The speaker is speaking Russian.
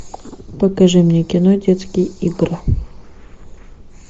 покажи мне кино детские игры